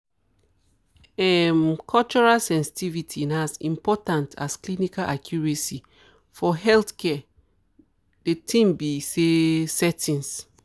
um cultural sensitivity na as important as clinical accuracy for healthcare de tin be say settings.